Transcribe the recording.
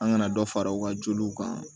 An kana dɔ fara u ka joliw kan